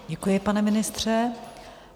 Děkuji, pane ministře.